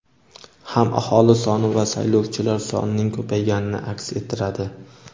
ham aholi soni va saylovchilar sonining ko‘payganini aks ettiradi.